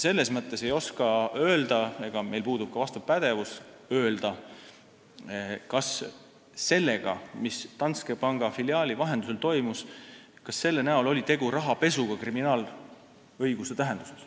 Selles mõttes me ei oska öelda – meil puudub ka vastav pädevus –, kas selle näol, mis Danske Banki filiaali vahendusel toimus, oli tegu rahapesuga kriminaalõiguse tähenduses.